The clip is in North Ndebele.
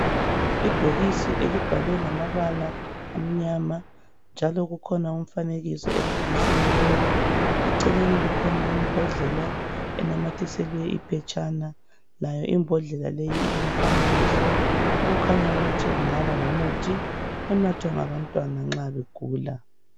Ibhokisi elibhalwe ngamabala amnyama njalo kukhona umfanekiso ebhokisini leli, eceleni kukhona imbodlela enamathiselwe iphetshana layo imbodlela leyi ilomfanekiso okukhanya ukuthi kungabangumuthi onathwa ngabantwana nxa begula